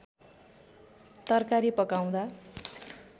तरकारी पकाउँदा